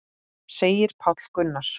segir Páll Gunnar.